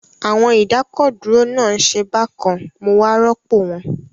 Àwọn ìdákọ̀dúró náà ń ṣe bákan mo wá rọ́pò wọn